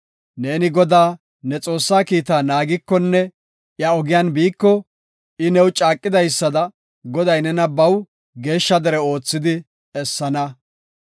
Neeni Godaa, ne Xoossaa kiita naagikonne iya ogiyan biiko, I new caaqidaysada Goday nena baw geeshsha dere oothidi essana.